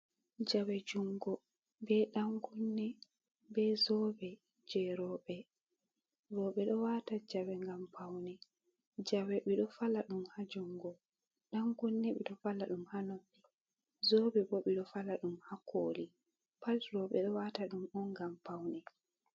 Jawe jungo be dankunne be zobe je robe, robe do wata jawe ngam paune. Jawe ɓe ɗo fala dum ha jungo, dangunne ɓe ɗo fala dum ha noppi, zobe bo, ɓe ɗo fala dum ha koli pat. Robe ɗo wata ɗum on ngam paune.